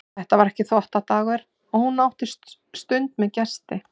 Þetta var ekki þvottadagur og hún átti stund með gesti.